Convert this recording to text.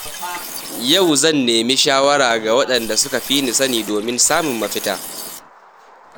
Yau zan nemi shawara daga waɗanda suka fi ni sani domin samun mafita.